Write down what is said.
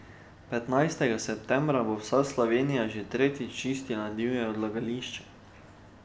Petnajstega septembra bo vsa Slovenija že tretjič čistila divja odlagališča.